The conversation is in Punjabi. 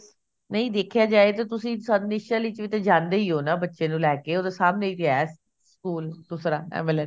ਨਹੀਂ ਦੇਖਿਆ ਜਾਏ ਤਾਂ ਤੁਸੀਂ ਵਿੱਚ ਵੀ ਤਾਂ ਜਾਂਦੇ ਹੀ ਹੋ ਨਾ ਬੱਚੇ ਨੂੰ ਲੈਕੇ ਉਹ ਤਾਂ ਸਾਹਮਣੇ ਹੀ ਤਾਂ ਹੈ ਸਕੂਲ ਦੂਸਰਾ MLN